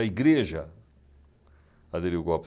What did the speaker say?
A igreja aderiu o golpe.